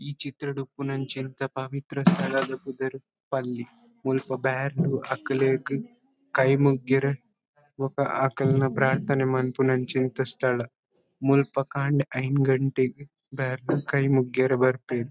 ಈ ಚಿತ್ರಡ್ ಉಪ್ಪುನಂಚಿಂತ ಪವಿತ್ರ ಸ್ಥಳದ ಪುದರ್ ಪಲ್ಲಿ. ಮುಲ್ಪ ಬ್ಯಾರ್ಲು ಅಕ್ಲೆಗ್ ಕೈ ಮುಗ್ಯರೆ ಬೊಕ್ಕ ಅಕಲ್ನ ಪ್ರಾರ್ಥನೆ ಮನ್ಪುನಂಚಿಂತ ಸ್ಥಳ. ಮುಲ್ಪ ಕಾಂಡೆ ಐನ್ ಗಂಟೆಗ್ ಬ್ಯಾರ್ಲು ಕೈ ಮುಗ್ಯೆರೆ ಬರ್ಪೆರ್.